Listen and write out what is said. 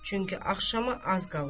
Çünki axşama az qalırdı.